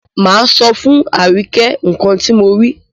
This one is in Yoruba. Máa sọ fún Àríkẹ́ nǹkan ti mo rí.